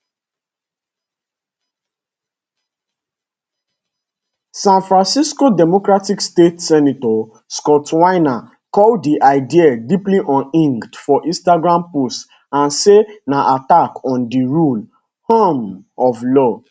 san francisco democratic state senator scott wiener call di idea deeply unhinged for instagram post and say na attack on di rule um of law